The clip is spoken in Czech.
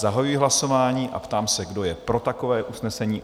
Zahajuji hlasování a ptám se, kdo je pro takové usnesení?